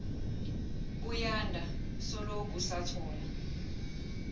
buyanda soloku sathola